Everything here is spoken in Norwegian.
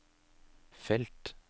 felt